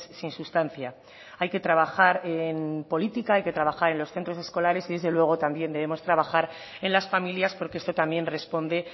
sin sustancia hay que trabajar en política hay que trabajar en los centros escolares y desde luego también debemos trabajar en las familias porque esto también responde